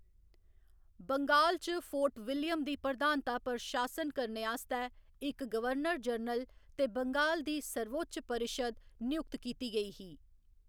बंगाल च Fort William दी प्रधानता पर शासन करने आस्तै इक गवर्नर जनरल ते बंगाल दी सर्वोच्च परिशद नियुक्त कीती गेई ही।